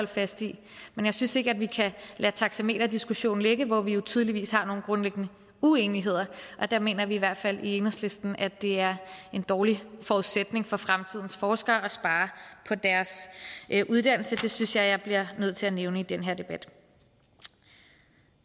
fast i men jeg synes ikke at vi kan lade taxameterdiskussionen ligge hvor vi jo tydeligvis har nogle grundlæggende uenigheder og der mener vi i hvert fald i enhedslisten at det er en dårlig forudsætning for fremtidens forskere at spare på deres uddannelse det synes jeg jeg bliver nødt til at nævne i den her debat